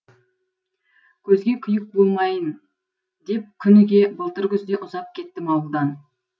көзге күйік болмайын деп күніге былтыр күзде ұзап кеттім ауылдан